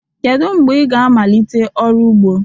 Kedu mgbe ị ga-amalite ọrụ ugbo?